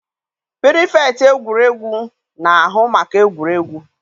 pirifektị egwuregwu na-ahụ maka egwuregwu.